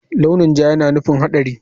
Launi ja yana nufin haɗari.